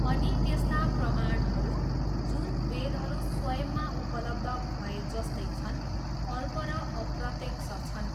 अनि त्यस्ता प्रमाणहरू, जुन वेदहरू स्वयंमा उपलब्ध भएजस्तै छन्, अल्प र अप्रत्यक्ष छन्।